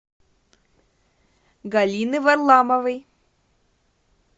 галины варламовой